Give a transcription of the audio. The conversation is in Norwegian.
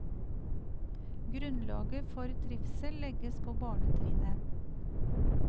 Grunnlaget for trivsel legges på barnetrinnet.